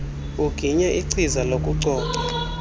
uginye ichiza lokucoca